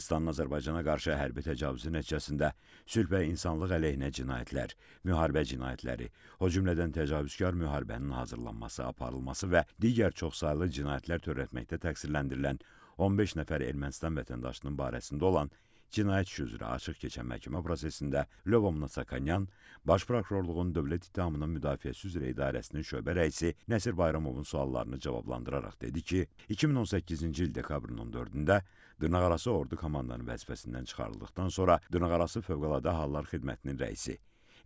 Ermənistanın Azərbaycana qarşı hərbi təcavüzü nəticəsində sülh və insanlıq əleyhinə cinayətlər, müharibə cinayətləri, o cümlədən təcavüzkar müharibənin hazırlanması, aparılması və digər çoxsaylı cinayətlər törətməkdə təqsirləndirilən 15 nəfər Ermənistan vətəndaşının barəsində olan cinayət işi üzrə açıq keçən məhkəmə prosesində Lyobomnonyan baş prokurorluğun dövlət ittihamının müdafiəsi üzrə idarəsinin şöbə rəisi Nəsir Bayramovun suallarını cavablandıraraq dedi ki, 2018-ci il dekabrın 14-də dırnaqarası ordu komandanı vəzifəsindən çıxarıldıqdan sonra dırnaqarası fövqəladə hallar xidmətinin rəisi,